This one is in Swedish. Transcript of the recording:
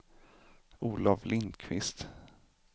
Olov Lindqvist